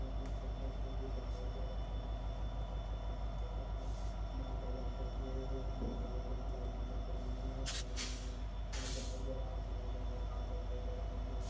दिखाई दे रहा है देखने मे बहुत अच्छा लग रहा है इस मे माल ले जाते हुए बहुत सारे लोग लाल टी शर्ट मे पहने हुए है समज मे हमे माल दिखाई दे रहा है समज हमे तार दिखाई दे रहे है।